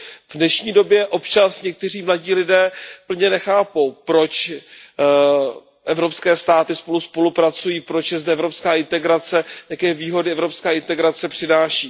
V dnešní době občas někteří mladí lidé plně nechápou, proč evropské státy spolu spolupracují, proč je zde evropská integrace, jaké výhody evropská integrace přináší.